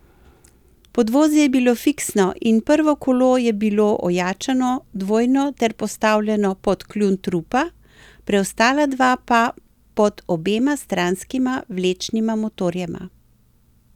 Podvozje je bilo fiksno in prvo kolo je bilo ojačano dvojno ter postavljeno pod kljun trupa, preostala dva pa pod obema stranskima vlečnima motorjema.